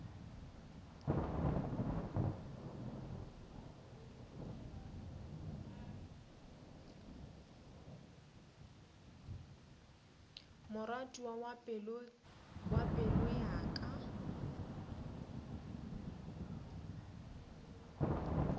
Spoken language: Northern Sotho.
moratiwa wa pelo ya ka